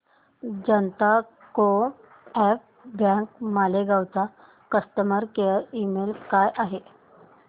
जनता co-op bank Malegaon चा customer care email काय आहे